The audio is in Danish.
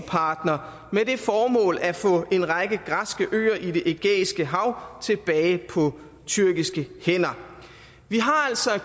partner med det formål at få en række græske øer i det ægæiske hav tilbage på tyrkiske hænder vi har altså at